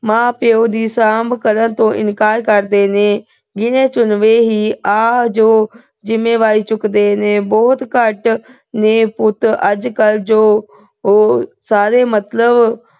ਮਾਂ ਪਿਓ ਦੀ ਸਾਂਭ ਕਰਨ ਤੋਂ ਇਨਕਾਰ ਕਰਦੇ ਨੇ। ਗਿਣੇ-ਚੁਣਵੇਂ ਹੀ ਨੇ ਜੋ ਜਿੰਮੇਵਾਰੀ ਚੁੱਕਦੇ ਨੇ। ਬਹੁਤ ਘੱਟ ਨੇ ਪੁੱਤ ਅੱਜ-ਕੱਲ ਉਹ। ਸਾਰੇ ਮਤਲਬ